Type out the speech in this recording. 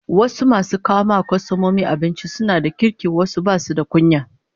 Wasu masu kawo wa kwastomomi abinci suna da kirki wasu basu da kunya